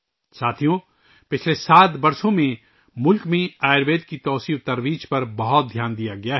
ساتھیو، پچھلے سات سالوں میں ملک میں آیوروید کے فروغ پر بہت زیادہ توجہ دی گئی ہے